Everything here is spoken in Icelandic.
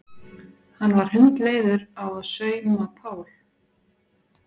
Hann var hundleiður á að sauma Pál.